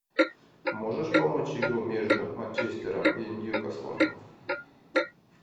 можешь помочь игру между манчестером и ньюкаслом